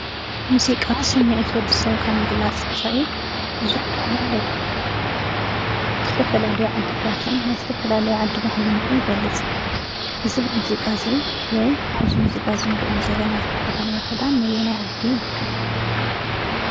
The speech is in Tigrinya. ሙዚቃ ስምዒት ወዲሰብ ካብ ምግላፅ ወፃኢ ብዙሕ ጥቅሚ ኣለዎ። ዝተፈላኣለዩ ዓድታትን ናይ ዝተፈላለዩ ዓዲ ባህሊ ይገፅ። እዚ ሙዚቃ እዚ ወይ ኣብዚ ሙዚቓ ንሪኦም ዘለና ተከደንዎ ክዳን ነየናይ ዓዲ ይዉክል?